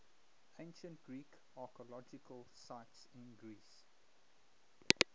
ancient greek archaeological sites in greece